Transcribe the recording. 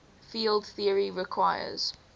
field theory requires